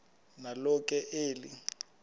nalo ke eli